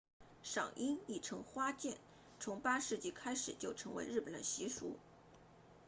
赏樱亦称花见 ”hanami 从8世纪开始就成为了日本习俗